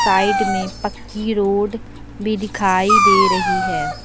Side में पक्की road भी दिखाई दे रही है।